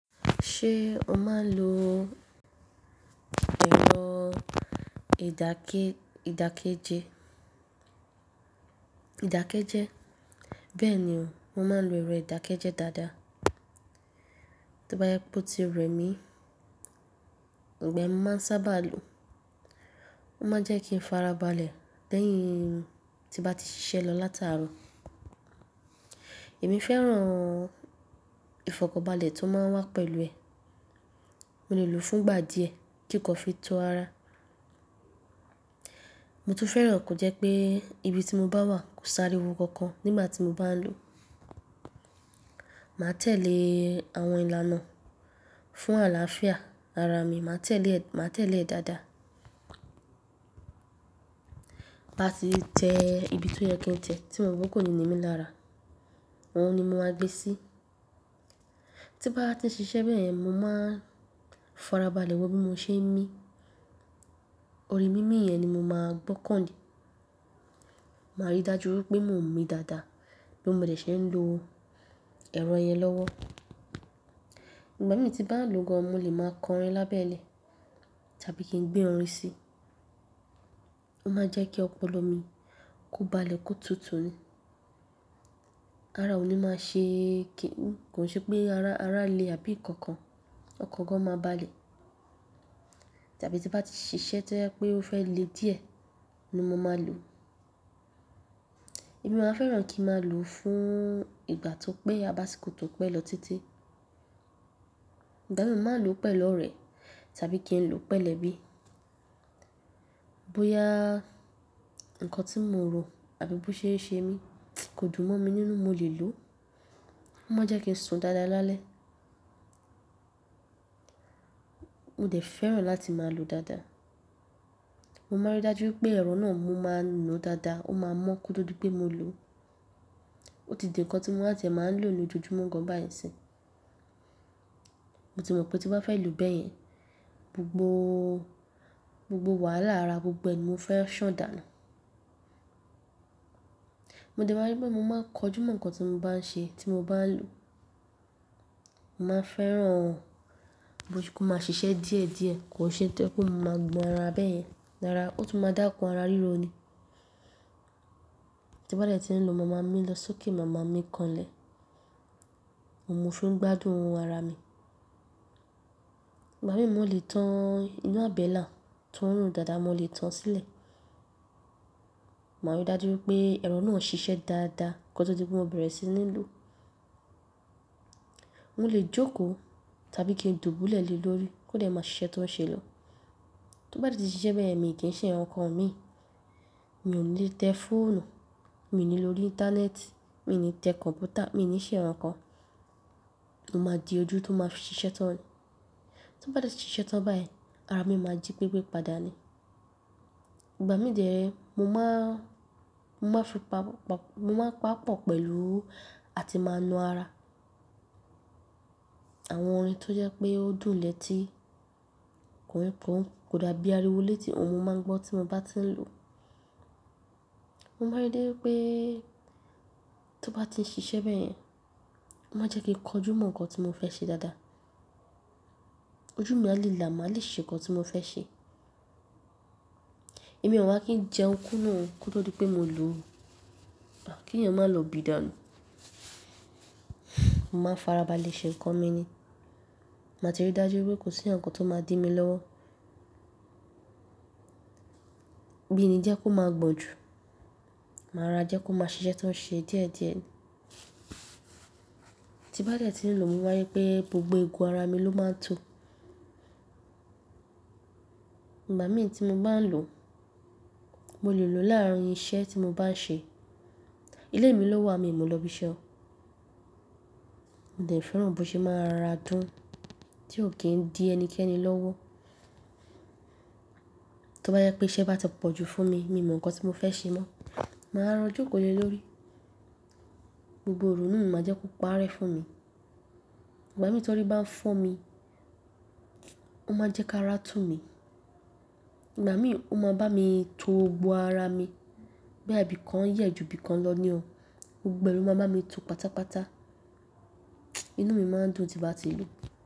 Ṣé ọ máa ń lo ẹ̀rọ idake ìdákẹ́jẹ́? Bẹ́ẹ̀ ni o, mo máa ń lo ẹ̀rọ ìdákẹ́jẹ́ dáadáa. Tí ó bá yjẹ wipe ó ti rẹ mí, ìgbà ẹ́ máa ń sáábà lo. Ó máa ń jẹ́ kí n fara balẹ̀ lẹ́yìn tí bá ti ṣiṣẹ́ lọ látàárọ̀. Èmi fẹ́ràn ìfọ̀kànbalẹ̀ tó máa ń wá pẹ̀lú ẹ. Mo lè lò ó fún ìgbà díẹ̀ kí n kó fi to ara. Mo tún fẹ́ràn kò jẹ́ pé ibi tí mo bá wà kò sári wo kankan nígbà tí mo bá ń lò ó. Màá tẹ̀lé àwọn ìlànà fún àlàáfíà ara mi, màá tẹ̀lé ẹ dáadáa. Máa sì tẹ ibi tó yẹ kí n tẹ̀ tí mo mọ̀ pé kò ní ní mí lára. Ohun ni mo máa gbé sí. Tí bá ti ń ṣiṣẹ́ bẹ́ẹ̀, mo máa ń fara balẹ̀ wọ bí mo ṣe ń mí. Orí mí mí yẹn ni mo máa ń gbọ́kàn lé. Màá rí dájú wipé mò ń mì dáadáa bi mode ṣe ń lo ẹ̀rọ yẹn lọ́wọ́. Ìgbà mí tí bá ń lò ó gan, mo lè máa kan ẹ lábẹ́lẹ̀ tàbí kí n gbé orin sí i. Ó máa ń jẹ́ kí ọpọlọ mi kó balẹ̀ kó tutù ni. Ara mi ò ní máa ṣe kí ń-- kò ṣe pé ara le àbí nǹkan kan ọkọ̀ gan máa balẹ̀. Tàbí tí bá ti ṣiṣẹ́ tó jẹ́ pé ó fẹ́ le díẹ̀ ni mo máa lò ó. Èmi máa fẹ́ràn kí a máa lò ó fún ìgbà tó pé, àbáṣiko tó péye lọ títí. Ìgbà tí mo máa lò ó pẹ̀lú ọ̀rẹ́ tàbí kí n lò ó pẹ̀lú ẹbí, bóyá ǹkan tí mo rò àbí bó ṣe ṣe mí kò dùn mọ́ mi nínú, mo lè lò ó. Ó máa ń jẹ́ kí n sùn dáadáa lálẹ́. Mo dẹ̀ fẹ́ràn láti máa lò ó dáadáa. Mo máa n rí dájú pé ẹ̀rọ náà mo máa ń nu ó dáadáa, ó máa mọ́ kó tó di pé mo lò ó. Ó ti di ǹkan tí mo máa tẹ̀ máa ń lò ní ojojúmọ́ gan báyìí sí. Mo ti mọ̀ pé tí ó bá fẹ́ lò bẹ́ẹ̀ yẹn, gbogbo gbogbo wàhálà ara gbogbo ni mo fẹ́ ṣàn dà nu. Mo dẹ̀ máa rí pé mo máa ń kọjú mọ́ ǹkan tí mo bá ń ṣe tí mo bá ń lò ó. Mo máa fẹ́ràn bó ṣe kó máa ṣiṣẹ́ díẹ̀ díẹ̀, kò ṣe tó ẹ́ pé mo máa gbọn ara bẹ́ẹ̀ yẹn. Rara ó tún máa dákún, ara ríro ni. Tí bá dẹ̀ ti ń lo, màmá mi lọ sókè màmá mi kanlẹ̀. Mo ń fi ń gbádùn ara mi. Ìgbà mí mo lè tán ina àbẹ́là tó han dáadáa, mo lè tán sílẹ̀. Màá rí dájú pé ẹ̀rọ náà ń ṣiṣẹ́ dáadáa kó tó di pé mo bẹ̀rẹ̀ sí ní lò ó. Mo lè jókòó tàbí kí n dùbúlẹ̀ le lórí kó dẹ̀ máa ṣiṣẹ́ tó ń ṣe lọ. To bá de ti ṣiṣẹ́ bẹ́yen, mi kì í ṣe ǹkankan mi. Mi ò ní lè tẹ fóònù, mi ò ní lò íńtánẹ́ẹ̀tì, mi ò ní tẹ kọ̀mpútà, mi ò ní ṣe ǹkan. MÓ máa di ojú tó máa fi ṣiṣẹ́ tán ni. To bá de ti ṣiṣẹ́ tán báyen, ara mi máa jí gbégbé padà ni. Ìgbà mí díẹ̀, mo máa fi pa-- mo máa pàpọ̀ pẹ̀lú àti máa nu ara. Àwọn orin tó jẹ́ pé ó dùn lẹ́tí kọ̀ọ̀kan kò dàbí ariwo létí ohun máa ń gbọ́ tí mo bá ti ń lò ó. Mo máa rí dájú pé tí ó bá ti ń ṣiṣẹ́ bẹ́ẹ̀ yẹn, ó máa jẹ́ kí kọjú mọ́ ǹkan tí mo fẹ́ ṣe dáadáa. Ojú mi a lè là, màá lè ṣe ǹkan tí mo fẹ́ ṣe. Èmi ò wá kí n jẹun kún nú kóto dipé mo lò ó. Kì eeyan máa lọ bìdà nu Mo máa n farabalẹ̀ ṣe ǹkan mi ni. Màá ti rí dájú pé kò sí ǹkan tó máa dí mi lọ́wọ́. Mí i ni jẹ́ kó máa gbọ̀n jú, màá rora jẹ́ kó máa ṣiṣẹ́ tó ń ṣe díẹ̀díẹ̀ ni. Tí bá dẹ̀ ti ń lò ó, mo máa rí pé gbogbo eegun ara mi ló máa ń tú. Ìgbà mí tí mo bá ń lò ó, mo lè lò ó láàárín iṣẹ́ tí mo bá ń ṣe. Ilé mi ló wà, mi ò lọ ibi iṣẹ́. Mo dẹ̀ fẹ́ràn bó ṣe máa ń rora dùn tí ò kí ń dí ẹnikẹ́ni lọ́wọ́. Tí ó bá jẹ pé iṣẹ́ bá ti pọ̀ jú fún mi, mi mọ̀ ǹkan tí mo fẹ́ ṣe mọ́. Màá rọra jo ko le lórí, gbogbo òru náà máa jẹ́ kó pa'rẹ́ fún mi. Ìgbà mí torí bá ń fọ́n mi, ó máa ń jẹ́ kí ara tú mi. Ìgbà mí ó máa ń bá mi to gbogbo ara mi. Bẹ́ẹ̀, ibìkan yẹ̀ ju ibìkan lọ ni o. Gbogbo e lo ma bami tó pátápátá. Inú mi máa ń dùn tí n bá ti ń lò ó.